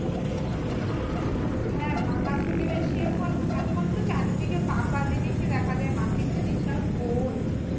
হ্যাঁ পাকার থেকে বেশি এখন এখন তো চারিদিকে পাকা জিনিসই দেখা যায় মাটির জিনিস আর কৈ